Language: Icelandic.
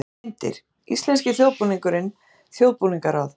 Myndir: Íslenski þjóðbúningurinn- Þjóðbúningaráð.